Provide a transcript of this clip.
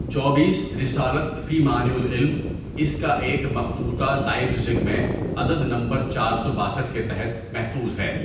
چوبیس رسالۃ فی معنی العلم اِس کا ایک مخطوطہ لائپزگ میں عدد نمبر چار سو باسٹھ کے تحت محفوظ ہے.